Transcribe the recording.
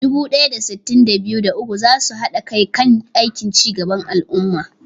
Dubu ɗaya da sittin da biyu, da uku za su haɗa kai kan aikin ci gaban al'umma.